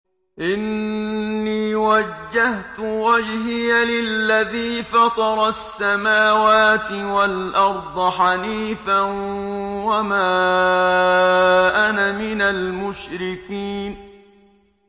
إِنِّي وَجَّهْتُ وَجْهِيَ لِلَّذِي فَطَرَ السَّمَاوَاتِ وَالْأَرْضَ حَنِيفًا ۖ وَمَا أَنَا مِنَ الْمُشْرِكِينَ